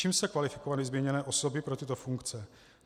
Čím se kvalifikovaly zmíněné osoby pro tyto funkce?